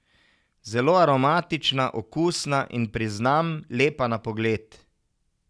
Zelo aromatična, okusna in, priznam, lepa na pogled.